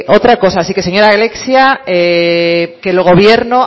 otra cosa así que señora alexia que el gobierno